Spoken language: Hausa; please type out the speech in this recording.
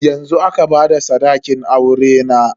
Yanzu aka bada sadakin aurena.